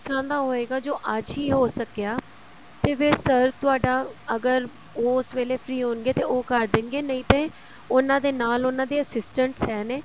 ਉਸ ਤਰ੍ਹਾਂ ਦਾ ਹੋਏਗਾ ਜੋ ਅੱਜ ਹੀ ਹੋ ਸਕਿਆ ਤੇ ਫ਼ੇਰ sir ਤੁਹਾਡਾ ਅਗਰ ਉਸ ਵੇਲੇ free ਹੋਣਗੇ ਤਾਂ ਉਹ ਕਰ ਦੇਣਗੇ ਨਹੀਂ ਤੇ ਉਹਨਾ ਦੇ ਨਾਲ ਉਹਨਾ ਦੇ assignments ਹੈ ਨੇ